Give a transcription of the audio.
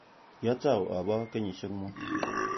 Kiatou abo kenyisiek mut